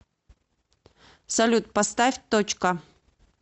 салют поставь точка